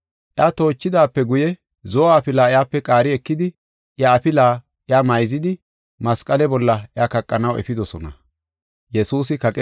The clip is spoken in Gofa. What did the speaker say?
Iya toochidaape guye zo7o afila iyape qaari ekidi, iya afila iya mayzidi masqale bolla iya kaqanaw efidosona.